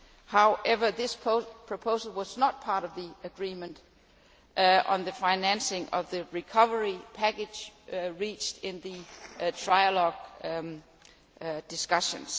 However, this proposal was not part of the agreement on the financing of the recovery package reached in the trialogue discussions.